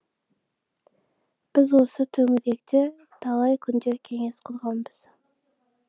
біз осы төңіректе талай күндер кеңес құрғанбыз